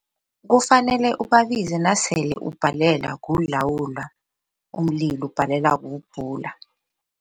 Kufanele ubabize nasele ubhalelwa kuyilawulwa umlilo ubhalelwa kuwubhula.